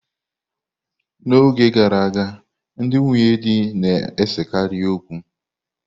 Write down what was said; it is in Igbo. N'oge gara aga, ndị nwunye di na-esekarị okwu.